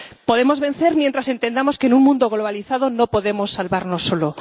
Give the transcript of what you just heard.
Podemos vencer mientras entendamos que, en un mundo globalizado, no podemos salvarnos solo.